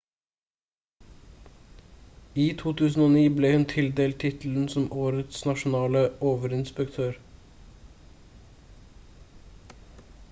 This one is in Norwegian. i 2009 ble hun tildelt tittelen som årets nasjonale overinspektør